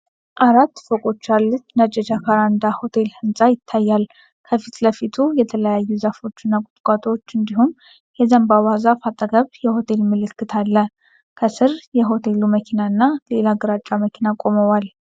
አራት ፎቆች ያሉት ነጭ የጃካራንዳ ሆቴል ህንጻ ይታያል። ከፊት ለፊቱ የተለያዩ ዛፎችና ቁጥቋጦዎች እንዲሁም በዘንባባ ዛፍ አጠገብ የሆቴሉ ምልክት አለ። ከሥር የሆቴሉ መኪናና ሌላ ግራጫ መኪና ቆመዋል።